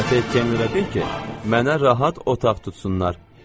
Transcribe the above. Bu səfəri kemerə de ki, mənə rahat otaq tutsunlar.